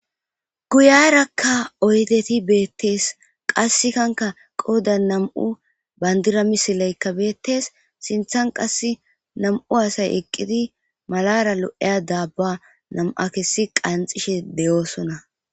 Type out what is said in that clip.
guyarakka oydeti beettees qassekanka qooda nam7u bayndira misileykka beettees sinthan qass nam7u asay eqqidi malara lo7eya daabba nam7a kessi qanxishe deyoosona